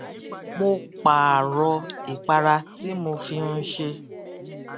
mo pààrò ìpara tí mo fi n ṣe